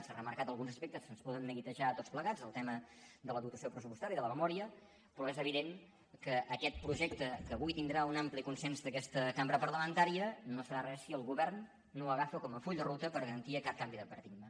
s’han remarcat alguns aspectes que ens poden neguitejar a tots plegats el tema de la dotació pressupostària de la memòria però és evident que aquest projecte que avui tindrà un ampli consens d’aquesta cambra parlamentària no serà res si el govern no l’agafa com a full de ruta per garantir aquest canvi de paradigma